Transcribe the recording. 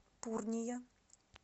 пурния